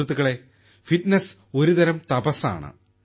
സുഹൃത്തുക്കളേ ഫിറ്റ്നസ് ഒരുതരം തപസ്സാണ്